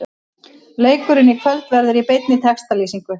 Leikurinn í kvöld verður í beinni textalýsingu.